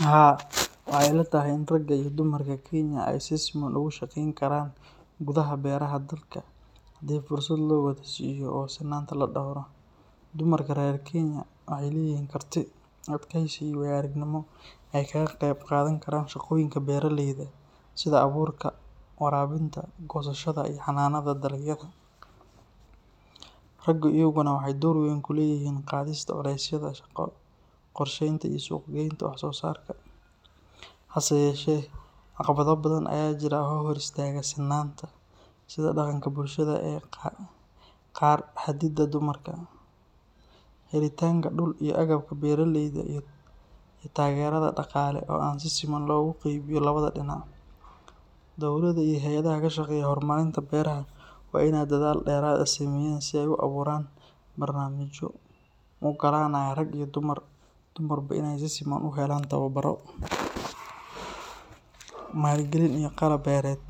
Haa, waxay ila tahay in ragga iyo dumarka Kenya ay si siman uga shaqeyn karaan gudaha beeraha dalka haddii fursad loo wada siiyo oo sinnaanta la dhowro. Dumarka reer Kenya waxay leeyihiin karti, adkaysi, iyo waayo-aragnimo ay kaga qeyb qaadan karaan shaqooyinka beeraleyda, sida abuurka, waraabinta, goosashada iyo xanaanada dalagyada. Raggu iyaguna waxay door weyn ku leeyihiin qaadista culaysyada shaqo, qorsheynta iyo suuq-geynta wax soo saarka. Hase yeeshee, caqabado badan ayaa jira oo hor istaaga sinnaanta, sida dhaqanka bulshada ee qaar xadida dumarka, helitaanka dhul iyo agabka beeralayda, iyo taageerada dhaqaale oo aan si siman loogu qeybiyo labada dhinac. Dowladda iyo hay’adaha ka shaqeeya horumarinta beeraha waa in ay dadaal dheeraad ah sameeyaan si ay u abuuraan barnaamijyo u oggolaanaya rag iyo dumarba in ay si siman u helaan tababaro, maalgelin iyo qalab beereed.